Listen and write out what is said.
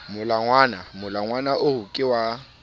molangwana molangwana oo ke wa